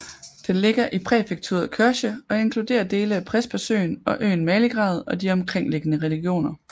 Den ligger i præfekturet Korçë og inkluderer dele af Prespasøen og øen Maligrad og de omkringliggende regioner